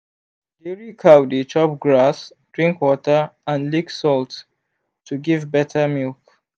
dairy cow dey chop grass drink water and lick salt to give better milk.